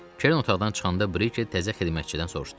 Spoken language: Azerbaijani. Kerin otaqdan çıxanda Brike təzə xidmətçidən soruştu.